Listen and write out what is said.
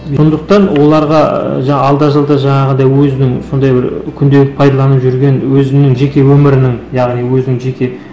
сондықтан оларға ы жаңағы алда жалда жаңағындай өзінің сондай бір күнделік пайдаланып жүрген өзінің жеке өмірінің яғни өзінің жеке